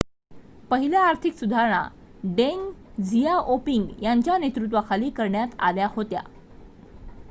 पहिल्या आर्थिक सुधारणा डेंग झियाओपिंग यांच्या नेतृत्वाखाली करण्यात आल्या होत्या